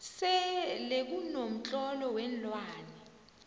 selekuno mtlolo weenlwane